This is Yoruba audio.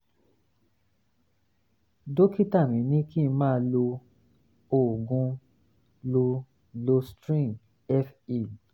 dókítà mi ní kí n máa lo oògùn lo loestrin fe